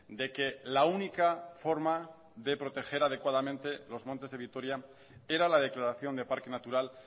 de que la única forma de proteger adecuadamente los montes de vitoria era la declaración de parque natural